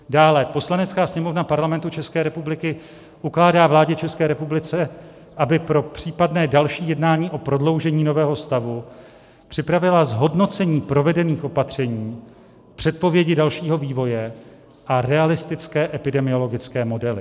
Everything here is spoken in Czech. Dále: Poslanecká sněmovna Parlamentu České republiky ukládá vládě České republiky, aby pro případné další jednání o prodloužení nového stavu připravila zhodnocení provedených opatření, předpovědi dalšího vývoje a realistické epidemiologické modely.